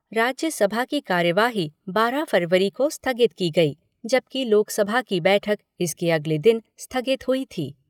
राज्यसभा की कार्यवाही बारह फरवरी को स्थगित की गई, जबकि लोकसभा की बैठक इसके अगले दिन स्थगित हुई थी।